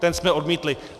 Ten jsme odmítli.